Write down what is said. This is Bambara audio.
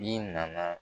Bin nana